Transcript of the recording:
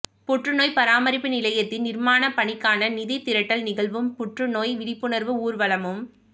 புற்றுநோய் பராமரிப்பு நிலையத்தின் நிர்மாணப் பணிக்கான நிதி திரட்டல் நிகழ்வும் புற்றுநோய் விழிப்புணர்வு ஊர்வலமும்